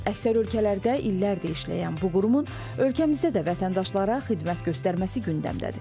Əksər ölkələrdə illərdir işləyən bu qurumun ölkəmizdə də vətəndaşlara xidmət göstərməsi gündəmdədir.